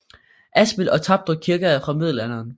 Asmild og Tapdrup kirker er fra Middelalderen